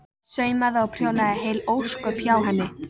Saumaði og prjónaði heil ósköp hjá henni.